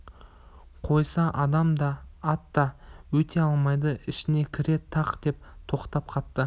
қойса адам да ат та өте алмайды ішіне кіре тақ деп тоқтап қапты